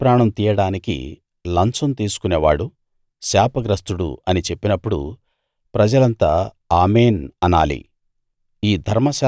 నిర్దోషి ప్రాణం తీయడానికి లంచం తీసుకునేవాడు శాపగ్రస్తుడు అని చెప్పినప్పుడు ప్రజలంతా ఆమేన్‌ అనాలి